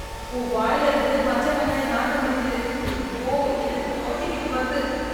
உன் வாயில இருந்து பச்ச வெங்காய நாத்தம் அடிக்குது, ஐயோ எனக்குக் குமட்டிகிட்டு வருது